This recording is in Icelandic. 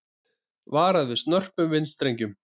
Varað við snörpum vindstrengjum